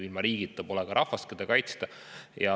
Ilma riigita pole ka rahvast, keda kaitsta.